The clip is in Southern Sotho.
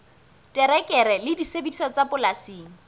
terekere le disebediswa tsa polasing